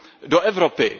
do Evropy.